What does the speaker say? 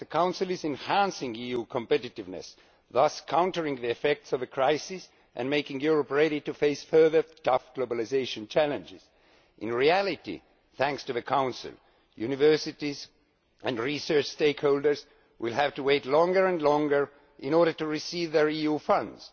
that the Council is enhancing EU competitiveness, thus countering the effects of the crisis and making Europe ready to face further tough globalisation challenges. In reality, thanks to the Council, universities and research stakeholders will have to wait longer and longer in order to receive their EU funds.